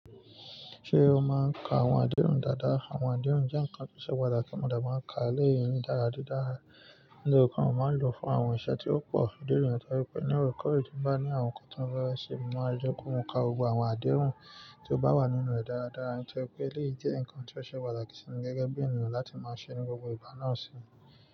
Ṣé o máa ń ka àwọn adéhùn dáadáa? Àwọn adéhùn jẹ́ ǹkan tó ṣe pàtàkì, mọ̀ de máa ń ka elé èyíi dára dídára, mi o ko n máa ń lò fún àwọn ǹṣe tí ó pò. Idi niyen to je pé ní ọ̀rọ̀ kọ̀ èyí bá ní àwọn ǹkan tó ń fẹ́ ṣe, máa jẹ́ kó hun ka gbogbo àwọn adéhùn tí ó bá wà nínú rẹ̀ dáradára. Nítorí pé elé jẹ́ ǹkan tí ó ṣe pàtàkì sí mi gẹ́gẹ́ bí ènìyàn láti máa ṣe ní gbogbo ìgbà náà sì.